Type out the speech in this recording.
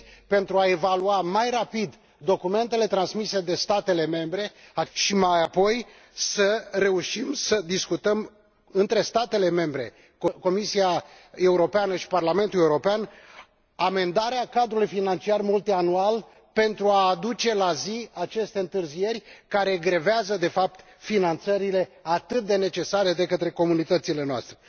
de a evalua mai rapid documentele transmise de statele membre și, mai apoi, să reușim să discutăm între statele membre, Comisia Europeană și Parlamentul European amendarea cadrului financiar multianual, pentru a aduce la zi aceste întârzieri care grevează, de fapt, finanțările atât de necesare comunităților noastre.